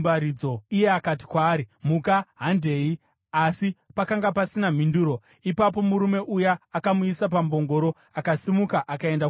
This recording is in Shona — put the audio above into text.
Iye akati kwaari, “Muka; handei.” Asi pakanga pasina mhinduro. Ipapo murume uya akamuisa pambongoro akasimuka akaenda kumusha.